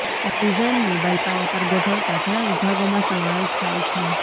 design mobile પાયા પર ગોઠવાતા ઘણા વિભાગોમાં સમાવેશ થાય છે